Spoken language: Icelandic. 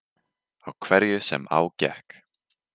Á hverju sem á gekk.